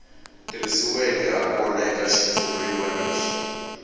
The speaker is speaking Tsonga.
tirhisiweke hakona eka xitshuriwa lexi